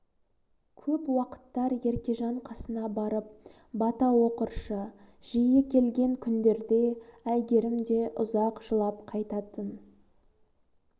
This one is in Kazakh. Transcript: көп уақыттар еркежан қасына барып бата оқыршы жиі келген күндерде әйгерім де ұзақ жылап қайтатын